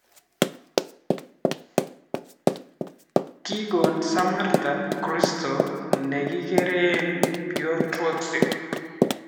Kikon Samatta krosit nekikere Piotrowski